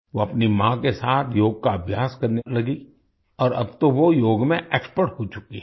वो अपनी माँ के साथ योग का अभ्यास करने लगी और अब तो वो योग में एक्सपर्ट हो चुकी है